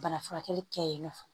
Bana furakɛli kɛyinɔ